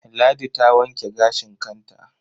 Ladi ta wanke gashin kanta.